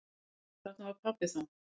Þarna var pabbi þá.